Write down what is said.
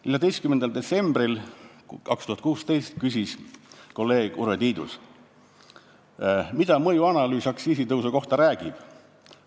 14. detsembril 2016 küsis kolleeg Urve Tiidus, mida mõjuanalüüs aktsiisitõusu kohta räägib.